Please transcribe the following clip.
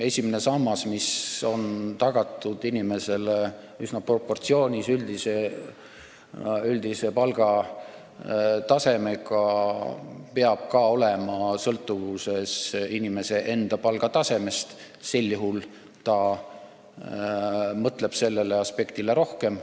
Esimene sammas, mis on tagatud inimesele üsna proportsioonis üldise palgatasemega, peab ka olema sõltuvuses inimese enda palgast, sel juhul ta mõtleb sellele aspektile rohkem.